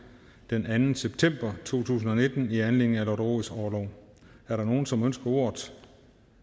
den anden september to tusind og nitten i anledning af lotte rods orlov er der nogen som ønsker ordet